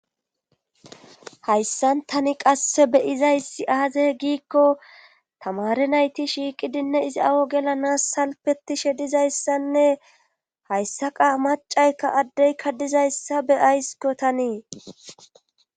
Hayssan tani qasse beyizaysi aaze giikko tamare nayti shiiqidinne izi awo gelanas salpetishe dizayssanne hayssaqa macaykka addeykka dizayssa beyaysikko tanii